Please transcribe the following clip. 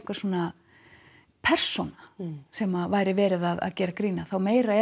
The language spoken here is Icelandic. persóna sem væri verið að gera grín af þá meira